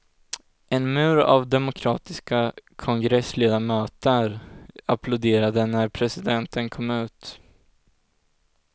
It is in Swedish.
En mur av demokratiska kongressledamöter applåderade när presidenten kom ut.